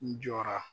N jɔra